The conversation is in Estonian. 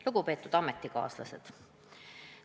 Lugupeetud ametikaaslased!